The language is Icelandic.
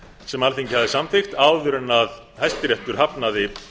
sem alþingi hafði samþykkt áður en hæstiréttur hafnaði